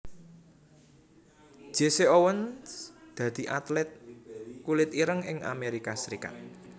Jesse Owens dadi atlét kulit ireng ing Amérika Serikat